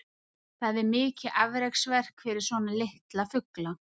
það er mikið afreksverk fyrir svona litla fugla